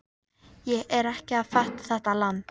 Ég er ekki að fatta þetta land.